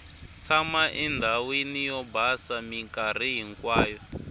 tshama endhawini yo basa minkarhi hinkwayo